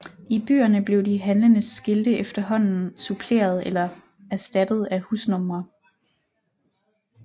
I byerne blev de handlendes skilte efterhånden suppleret eller erstattet af husnumre